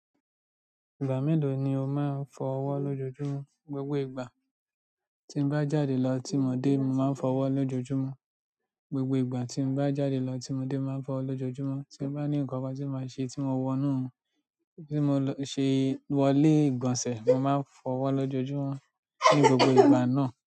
Ìgbà mélòó ni o máa ń fọ ọwọ́ lójoojúmọ́? Gbogbo ìgbà tí n bá já de lo tí mo dé, mo máa n f'owó lójoojúmó. Gbogbo ìgbà tí n bá jáde lọ tí mo dé, mo máa ń fọ ọwọ́ lójoojúmọ́. Tí n bá ní nǹkan kan tí máa ṣe tí mo wọnú, tí mo lọ ṣe wọlé ìgbọ̀nsẹ̀, mo máa ń fọ ọwọ́ lójoojúmọ́ ní gbogbo ìgbà náà.